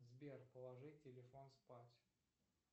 сбер положи телефон спать